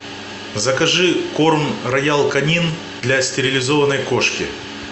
закажи корм роял канин для стерилизованной кошки